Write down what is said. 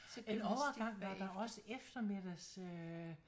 En overgang var der også eftermiddags øh